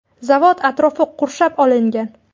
Zavod atrofi qurshab olingan.